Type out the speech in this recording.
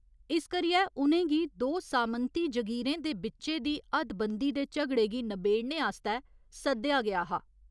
इस करियै उ'नें गी दो सामंती जगीरें दे बिच्चे दी हद्दबंदी दे झगड़े गी नबेड़ने आस्तै सद्देआ गेआ हा।